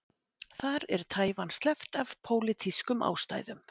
Þar er Taívan sleppt af pólitískum ástæðum.